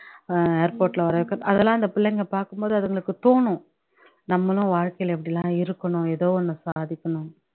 அஹ் airport ல வரவைக் அதெல்லாம் அந்த பிள்ளைங்க பாகும்போது அதுங்களுக்கு தோணும் நம்மளும் வாழ்க்கைல இப்படியெல்லாம் இருக்கணும் எதோ ஒண்ணு சாதிக்கணுன்னு